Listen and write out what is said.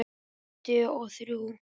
Tuttugu og þrjú!